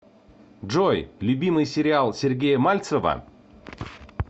джой любимый сериал сергея мальцева